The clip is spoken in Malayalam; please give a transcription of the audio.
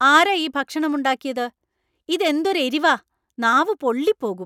ആരാ ഈ ഭക്ഷണം ഉണ്ടാക്കിയത്? ഇത് എന്തൊരു എരിവാ , നാവ് പൊള്ളിപ്പോകും .